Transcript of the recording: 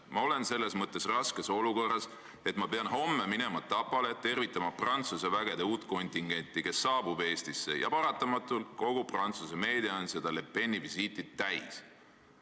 Ma olen selles mõttes raskes olukorras, et ma pean homme minema Tapale, tervitama Prantsuse vägede uut kontingenti, kes saabub Eestisse, ja paratamatul kogu Prantsuse meedia on seda Le Peni visiiti täis.